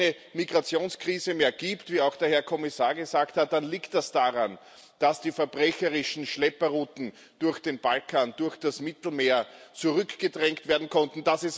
Wenn es keine Migrationskrise mehr gibt wie auch der Herr Kommissar gesagt hat dann liegt das daran, dass die verbrecherischen Schlepperrouten durch den Balkan, durch das Mittelmeer zurückgedrängt werden konnten.